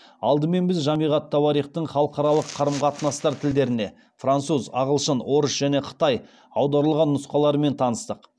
алдымен біз жамиғ ат тауарихтың халықаралық қарым қатынастар тілдеріне аударылған нұсқаларымен таныстық